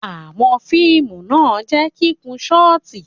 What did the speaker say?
Àwọn fiimu na jẹ i kikun shọti